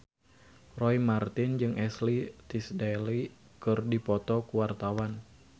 Roy Marten jeung Ashley Tisdale keur dipoto ku wartawan